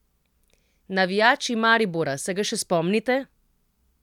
Navijači Maribora, se ga še spomnite?